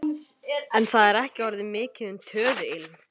En það er ekki orðið mikið um töðuilm.